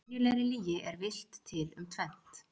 Í venjulegri lygi er villt til um tvennt.